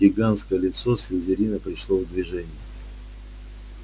гигантское лицо слизерина пришло в движение